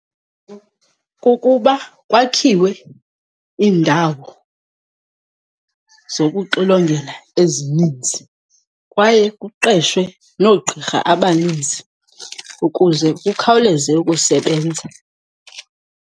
Kukuba kwakhiwe iindawo zokuxilongela ezininzi kwaye kuqeshwe noogqirha abaninzi ukuze kukhawuleze ukusebenza.